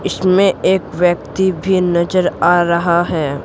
इसमें एक व्यक्ति भी नजर आ रहा है।